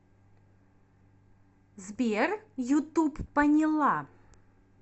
сбер ютуб поняла